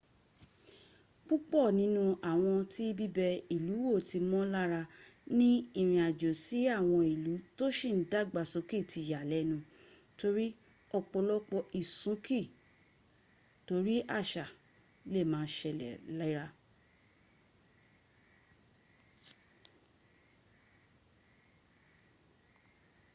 pupọ ninu awọn ti bibe ilu wọ ti mo lara ni irin ajo si awọn ilu to si n dagbasoke ti yalẹnu tori ọpọlọpọ isunki tori aṣa le ma a ṣẹlẹ lera